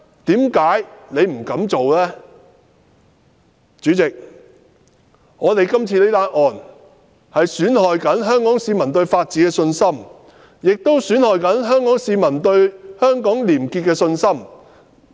代理主席，今次這宗案件正在損害香港市民對法治的信心，也正在損害香港市民對香港廉潔情況的信心。